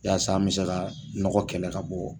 Yasa an bɛ se ka nɔgɔ kɛlɛ ka bɔ